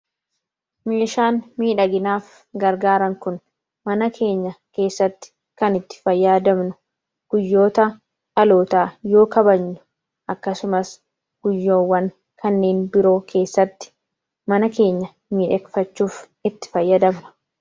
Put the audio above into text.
Meeshaan miidhaginaaf gargaaran kun mana keenya keessatti kan itti fayyadamnudha. Guyyaa dhalootaa, akkasumas guyyoota kanneen biroo sagantaa qabnu mana keenya miidhagfachuuf itti fayyadamna.